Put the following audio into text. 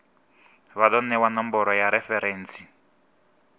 vha do newa nomboro ya referentsi